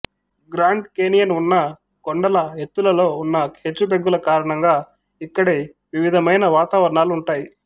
grand Canyon ఉన్న కొండల ఎత్తులలో ఉన్న హెచ్చుతగ్గుల కారణంగా ఇక్కడి వివిధమైన వతావరణాలు ఉంటాయి